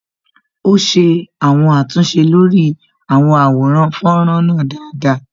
Ó ṣe àwọn àtúnṣe lórí àwọn àwòrán fọ́nrán náà dáadáa